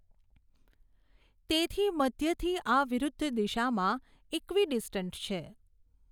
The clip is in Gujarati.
તેથી મધ્યથી આ વિરુદ્ધ દિશામાં ઇકવીડિસ્ટન્ટ છે.